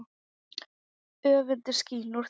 Öfundin skín úr þeim.